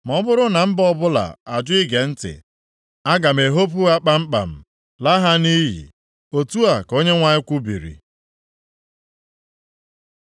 Ma ọ bụrụ na mba ọbụla ajụ ige ntị, aga m ehopu ha kpamkpam, laa ha nʼiyi.” Otu a ka Onyenwe anyị kwubiri.